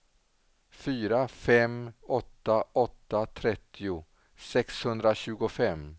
fyra fem åtta åtta trettio sexhundratjugofem